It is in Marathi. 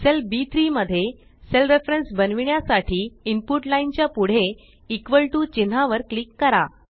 सेल बी3 मध्ये सेल रेफरेन्स बनविण्यासाठी इनपुट लाईन च्या पुढे इक्वॉल टीओ चिन्हा वर क्लिक करा